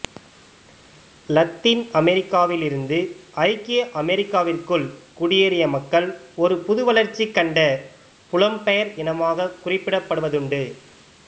Latin அமெரிக்காவில் இருந்து ஐக்கிய அமெரிக்காஅமெரிக்காவிற்குள் குடியேறிய மக்கள் ஒரு புது வளர்ச்சி கண்ட புலம் பெயர் இனமாக குறிப்பிடப்படுவதுண்டு